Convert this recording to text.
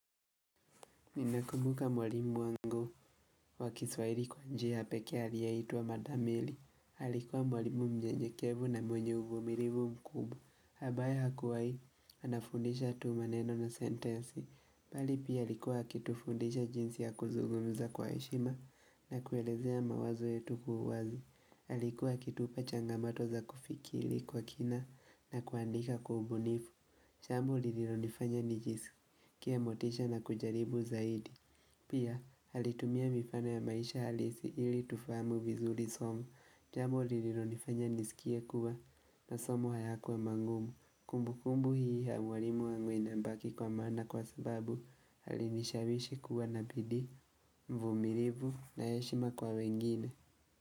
Ninakumbuka mwalimu wangu wa kiswahili kwa njia pekee aliyeitwa madam mary. Alikuwa mwalimu myenyekevu na mwenye uvumilivu mkubwa. Ambaye hakuwai, anafundisha tu maneno na sentensi. Bali pia alikuwa akitu fundisha jinsi ya kuzugumza kwa heshima na kuelezea mawazo yetu kwa u wazi. Alikuwa akitupa changamato za kufikiri kwa kina na kuandika kwa ubunifu. Jambo lililo nifanya nijisikie motisha na kujaribu zaidi Pia alitumia mifano ya maisha halisi ili tufahamu vizuri somo jambo lililo nifanya niskie kuwa na masomo hayakuwa mangumu Kumbu kumbu hii ya mwalimu wangu inabaki kwa maana kwa sababu alinishawishi kuwa na bidii uvumilivu na heshima kwa wengine.